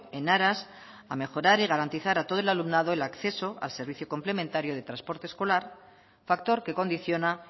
en aras a mejorar y garantizar a todo el alumnado el acceso al servicio complementario de transporte escolar factor que condiciona